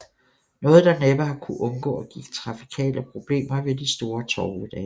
Noget der næppe har kunnet undgå at give trafikale problemer ved de store torvedage